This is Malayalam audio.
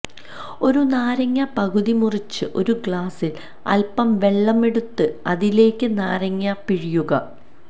ഒരു നാരങ്ങ പകുതി മുറിച്ച് ഒരു ഗ്ലാസ്സില് അല്പം വെള്ളമെടുത്ത് അതിലേക്ക് നാരങ്ങ പിഴിയുക